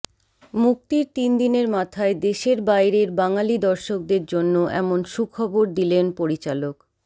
মুক্তির তিন দিনের মাথায় দেশের বাইরের বাঙালি দর্শকদের জন্য এমন সুখবর দিলেন পরিচালক